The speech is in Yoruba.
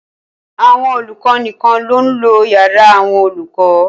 Àwọn olùkọ nìkan ló ń lo yàrá àwọn olùkọ.